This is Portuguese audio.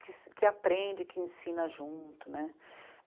que aprende, que ensina junto, né.